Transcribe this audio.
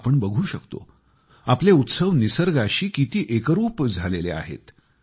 आपण बघू शकतो आपले उत्सव निसर्गाशी किती एकरूप झालेले आहेत